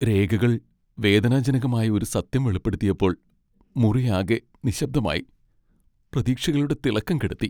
രേഖകൾ വേദനാജനകമായ ഒരു സത്യം വെളിപ്പെടുത്തിയപ്പോൾ മുറിയാകെ നിശബ്ദമായി, പ്രതീക്ഷകളുടെ തിളക്കം കെടുത്തി.